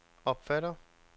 opfatter